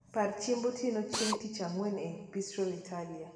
par chiemb otieno chieng tich angwen e bistro italia